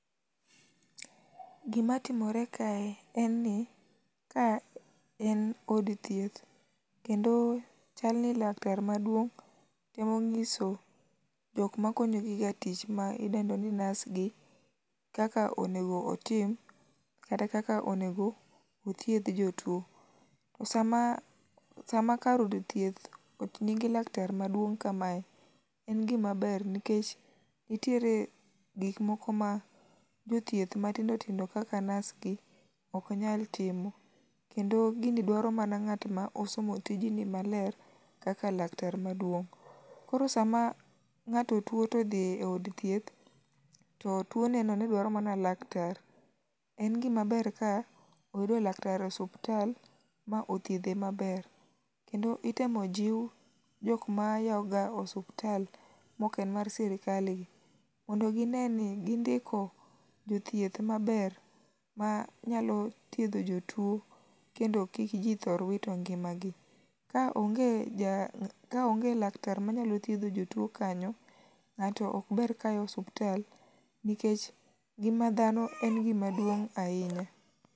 Gima timore kae en ni ka en od hieth kendo chalni laktar maduong' temo nyiso jok makonyogiga tich ma idendo ni nurse gi kaka onego otim kata kaka onego othiedh jotuo. Sama sama kar jothieth nigi laktar maduong' kamae en gima ber nikech nitiere gik moko ma jothieth matindo tindo kaka nurse gi ok nyal timo. Kendo gini dwaro mana ng'at ma osomo tijni maler kaka aktar maduong'. Koro sama ng'ato odhi eod thieth to tuone no ne dwaro mana laktar, en gima ber ka iyudo laktar e osiptal ma othiedhe maber kendo itemo jiw jok mayawoga osiptal maok en mar sirkal gi mondo gine ni gindiko jothieth maber ma nyalo thiedho jotuo kendo kik ji thor wito ngimagi. Kaonge ja ah kaonge laktar manyalo thiedho jotuo kanyo, to ng'ato ok ber kayawo osiptal nikech ngima dhano en gima duong' ahinya.